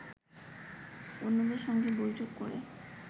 অন্যদের সঙ্গে বৈঠক করে